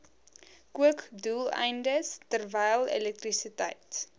kookdoeleindes terwyl elektrisiteit